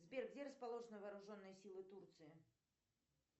сбер где расположены вооруженные силы турции